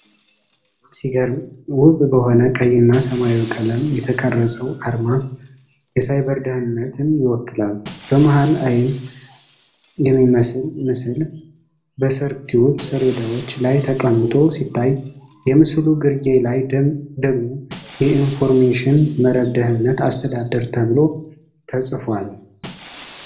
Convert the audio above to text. ሲገርም! ውብ በሆነ ቀይና ሰማያዊ ቀለም የተቀረጸው አርማ የሳይበር ደህንነትን ይወክላል። በመሃሉ አይን የሚመስል ምስል በሰርክዩት ሰሌዳዎች ላይ ተቀምጦ ሲታይ፣ የምስሉ ግርጌ ላይ ደግሞ "የኢንፎርሜሽን መረብ ደኅንነት አስተዳደር" ተብሎ ተጽፏል።